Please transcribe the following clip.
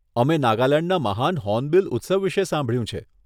અમે નાગાલેંડના મહાન હોર્નબીલ ઉત્સવ વિષે સાંભળ્યું છે.